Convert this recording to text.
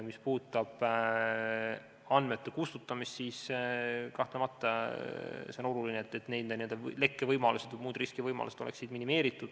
Mis puudutab andmete kustutamist, siis kahtlemata on oluline, et lekkevõimalused või muud riskivõimalused oleksid minimeeritud.